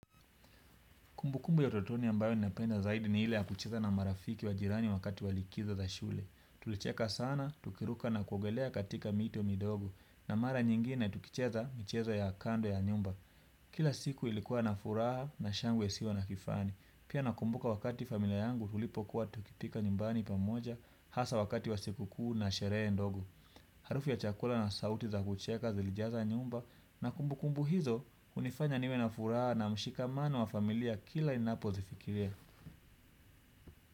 Kumbukumbu ya utotoni ambayo ninapenda zaidi ni ile ya kucheza na marafiki wa jirani wakati wa likizo za shule. Tulicheka sana, tukiruka na kuogelea katika mito midogo na mara nyingine tukicheza micheza ya kando ya nyumba. Kila siku ilikua na furaha na shangwe isiyo na kifani pia nakumbuka wakati familia yangu tulipokuwa tukipika nyumbani pamoja hasa wakati wa siku kuu na sherehe ndogo. Harufu ya chakula na sauti za kucheka zilijaza nyumba na kumbukumbu hizo unifanya niwe na furaha na mshikamano wa familia kila ninapozifikiria.